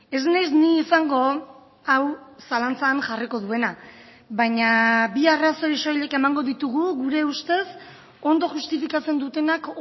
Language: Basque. ez naiz ni izango hau zalantzan jarriko duena baina bi arrazoi soilik emango ditugu gure ustez ondo justifikatzen dutenak